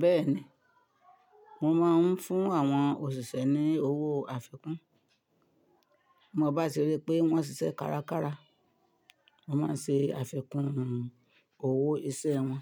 Bẹ́ẹ̀ni, mo máa ń fún àwọn òṣìṣẹ́ ní owó àfikún. Mo bá ti rí pé wọ́n ṣiṣẹ́ kárakára, mo máa ṣe àfikún owó iṣẹ́ wọn.